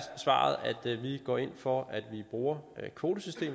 svaret at vi går ind for at vi bruger kvotesystemet